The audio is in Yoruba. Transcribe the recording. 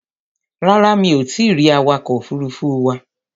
Rárá, mi ò tí ì rí awakọ̀ òfuruufú wa.